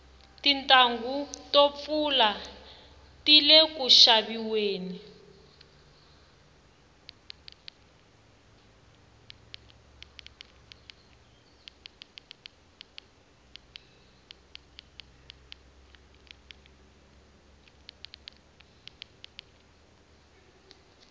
tintanghu to pfula tile ku xaviweni